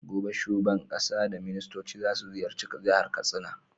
Gobe shuban ƙasa da ministoci zasu ziyarci jahar katsina